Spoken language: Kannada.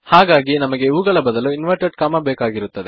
ಹಾಗಾಗಿ ನಮಗೆ ಇವುಗಳ ಬದಲು ಇನ್ವೆರ್ಟೆಡ್ ಅಲ್ಪವಿರಾಮ ಬೇಕಾಗುತ್ತದೆ